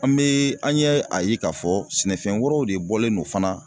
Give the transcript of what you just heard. An bee an yɛ a ye k'a fɔ sɛnɛfɛn wɛrɛw de bɔlen don fana